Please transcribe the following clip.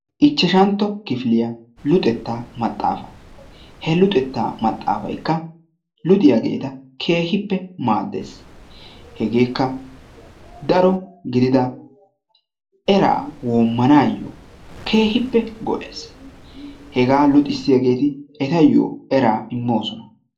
Ichchashantto kifiliyaa luxetta maxxaafaa he luxettaa maxxaafaykka luxxiyaageeta keehippe maaddes hegeekka daro gididda eraa woommanaayoo keehippe go'ess hegeeti etayyoo eraa immoosona.